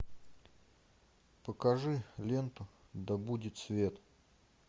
покажи ленту да будет свет